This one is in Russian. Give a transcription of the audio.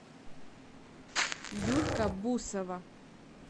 юлька бусова